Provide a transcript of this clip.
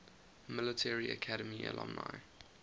military academy alumni